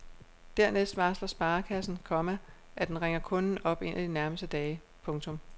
Dernæst varsler sparekassen, komma at den ringer kunden op en af de nærmeste dage. punktum